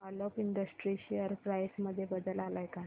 Alok industries share price मध्ये बदल आलाय का